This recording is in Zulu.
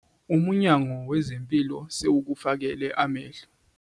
uMnyango weze Mpilo sewukufakele amehlo.